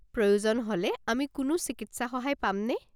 প্রয়োজন হ'লে আমি কোনো চিকিৎসা সহায় পামনে?